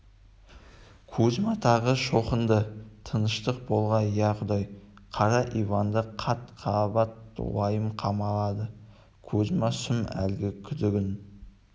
кузьма тағы шоқынды тыныштық болғай иә құдай қара иванды қат-қабат уайым қамалады кузьма сұм әлгі күдігін